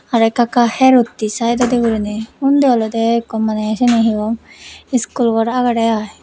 arokka ka her utte sideondi gurine undi olode ekko mane siani he hon school gor agede ai.